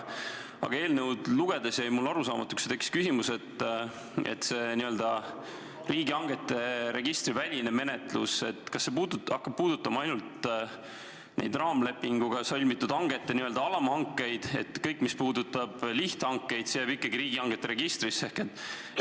Aga eelnõu lugedes jäi üks asi mulle arusaamatuks ja tekkis küsimus: kas see n-ö riigihangete registri väline menetlus hakkab puudutama ainult neid raamlepinguga sõlmitud hangete n-ö alamhankeid ja kõik see, mis puudutab lihthankeid, jääb ikkagi riigihangete registrisse?